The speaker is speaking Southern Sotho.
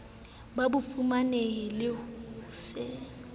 ba bofumanehi le ho se